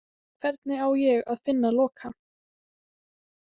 Hvernig á ég að finna Loka?